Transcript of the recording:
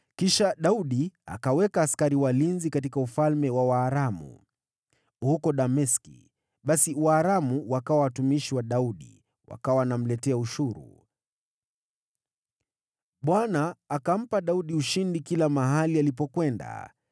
Daudi akaweka askari walinzi katika ufalme wa Waaramu huko Dameski. Basi Waaramu wakawa watumwa wa Daudi, na kumlipa ushuru. Bwana akampa Daudi ushindi kote alipokwenda.